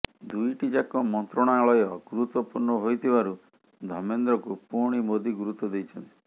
ଦୁଇଟି ଯାକ ମନ୍ତ୍ରଣାଳୟ ଗୁରୁତ୍ୱପୂର୍ଣ୍ଣ ହୋଇଥିବାରୁ ଧର୍ମେନ୍ଦ୍ରଙ୍କୁ ପୁଣି ମୋଦି ଗୁରୁତ୍ୱ ଦେଇଛନ୍ତି